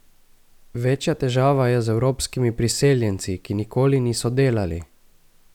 Večja težava je z evropskimi priseljenci, ki nikoli niso delali.